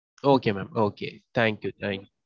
Okay mam. okay. Thank you thank you.